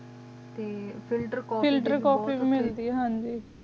T filter ਕੋਫ੍ਫੀਏ ਵੀ ਮੇਲਦੀ ਹਨ ਜੀ